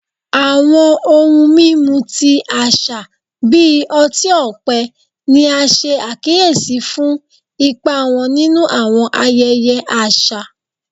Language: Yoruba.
Awọn ohun mimu ti aṣa bi ọti-ọpẹ ni a ṣe akiyesi fun ipa wọn ninu awọn ayẹyẹ aṣa